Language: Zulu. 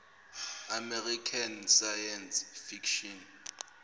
american science fiction